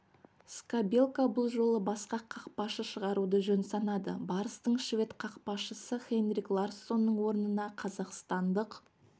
скабелка бұл жолы басқа қақпашы шығаруды жөн санады барыстың швед қақпашысы хенрих ларссонның орнына қазақстандық